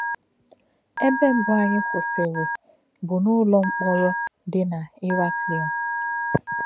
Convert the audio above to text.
Ébé mbù anyị kwụsìrì bụ n’ụlọ mkpọ̀rọ dị n’Iráklion.